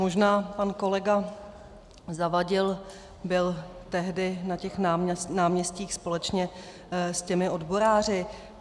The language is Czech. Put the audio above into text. Možná pan kolega Zavadil byl tehdy na těch náměstích společně s těmi odboráři.